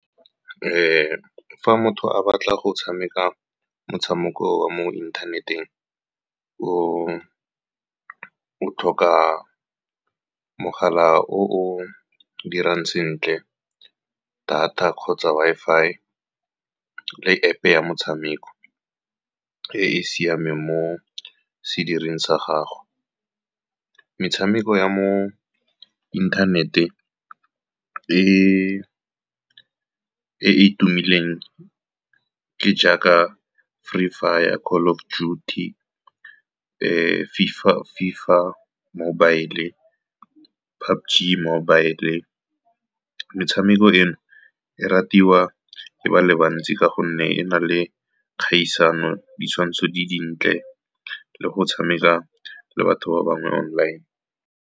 Fa motho a batla go tshameka motshameko wa mo inthaneteng, o o tlhoka mogala o o dirang sentle, data kgotsa Wi-Fi, le App-e ya metshameko e e siameng mo sedirweng sa gago. Metshameko ya mo inthaneteng e e tumileng ke jaaka Free Fire, Call of Duty, FIFA Mobile, le PUBG Mobile. Metshameko eno e ratiwa ke batho ba le bantsi ka gonne e na le kgaisano, ditshwantsho di dintle, le go tshameka le batho ba bangwe online.